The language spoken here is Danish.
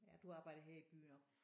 Ja du arbejder her i byen også